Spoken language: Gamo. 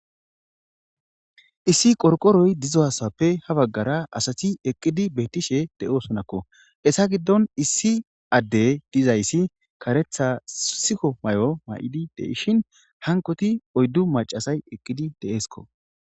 Issi qoriqoroyi dizayisappe ha baggara assati eqidayisi bettesi he assa giddoni issi addeyi dizayisi karetha sufe mayisi gidishi